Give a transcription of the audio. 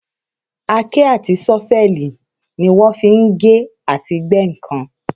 Àáké àti ṣọ́fẹ̀lì ni wọ́n fi ń gé àti gbẹ́ ǹkan